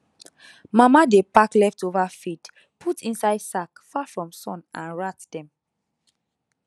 mama dey pack leftover feed put inside sack far from sun and rat dem